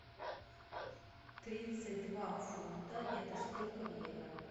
тридцать два фунта это сколько в евро